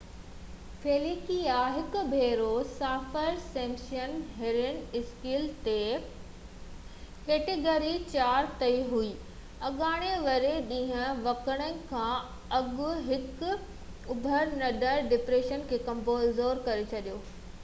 Felicia هڪ ڀيرو Saffir Simpson hurricane scale تي ڪيٽيگري 4 تي هو اڱاري واري ڏينهن وکرڻ کان اڳ هڪ اڀرندڙ ڊپريشن کي ڪمزور ڪري ڇڏيو